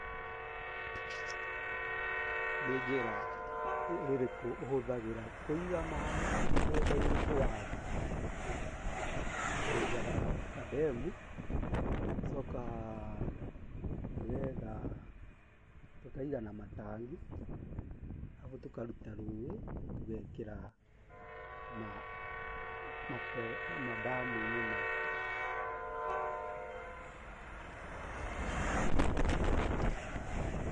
Nĩ njĩra irĩku ũhũthagĩra kũiga maaĩ mugũnda-inĩ waku? twenjaga kademu, tũgacoka tũgetha, tũkaiga na matangi, arabu tũkaruta rũĩ tũgekĩra madamu-inĩ maitũ